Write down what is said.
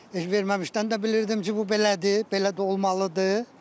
Heç verməmişdən də bilirdim ki, bu belədir, belə də olmalıdır.